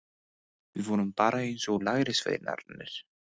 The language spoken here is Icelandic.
Við vorum bara eins og lærisveinarnir.